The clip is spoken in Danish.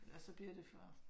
Ellers så bliver det for